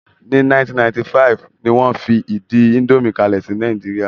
Ní 1995,ni wón fi ìdí indomie kalẹ̀ sí Nàìjíríà